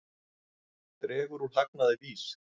Dregur úr hagnaði VÍS